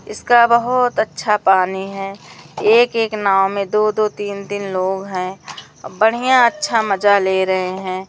इसका बहोत अच्छा पानी है। एक एक नाव में दो दो तीन तीन लोग हैं। बढ़िया अच्छा मजा ले रहे हैं।